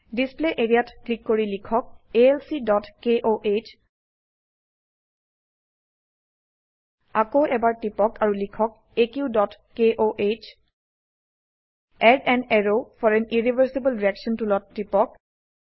display area ত click কৰি লিখক alcকহ আকৌ এবাৰ টিপক আৰু লিখক aqকহ add an arrow for an irreversible reaction টুলত টিপক